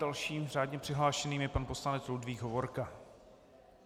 Dalším řádně přihlášeným je pan poslanec Ludvík Hovorka.